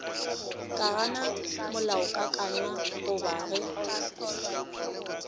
ka gana molaokakanywa goba ge